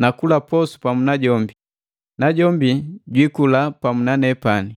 na kula posu pamu na jombi, najombi jwii kula pamu na nepani.